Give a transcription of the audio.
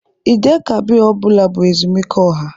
Eid-el-Kabir ọ bụla bụ ezumike ọha.